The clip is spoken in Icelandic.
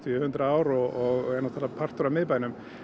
hundrað ár og er náttúrulega partur af miðbænum